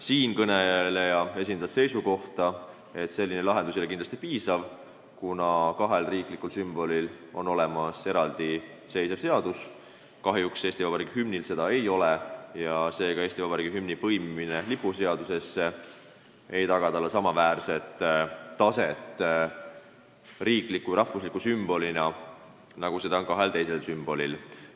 Siinkõneleja esindas seisukohta, et selline lahendus ei ole kindlasti piisav, kuna kahel riiklikul sümbolil on olemas eraldi seadus, kahjuks Eesti Vabariigi hümnil seda ei ole ja Eesti Vabariigi hümni põimimine lipuseadusesse ei taga talle samaväärset taset riikliku ja rahvusliku sümbolina, nagu on kahel teisel sümbolil.